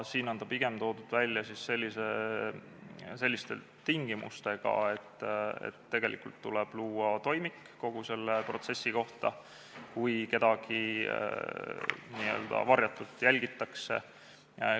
Siin on see pigem toodud välja selliste tingimustega, et tuleb luua toimik kogu selle protsessi kohta, kui kedagi n-ö varjatult jälgitakse.